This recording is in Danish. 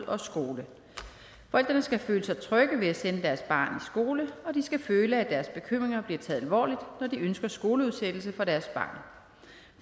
og skole forældrene skal føle sig trygge ved at sende deres barn i skole og de skal føle at deres bekymringer bliver taget alvorligt når de ønsker skoleudsættelse for deres barn